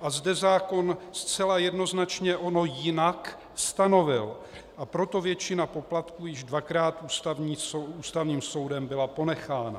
a zde zákon zcela jednoznačně ono jinak stanovil, a proto většina poplatků již dvakrát Ústavním soudem byla ponechána.